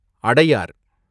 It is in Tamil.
அடயார்